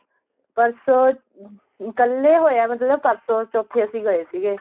ਪਰਸੋ ਕੱਲ ਏ ਹੋਇਆ ਮਤਲਬ ਪਰਸੋ ਚੋਥੇ ਅਸੀਂ ਗਏ ਸੀਗੇ